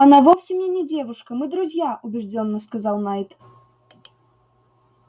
она вовсе мне не девушка мы друзья убеждённо сказал найд